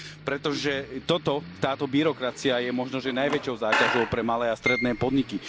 Pretože toto, táto byrokracia, je možno že najväčšou záťažou pre malé a stredné podniky.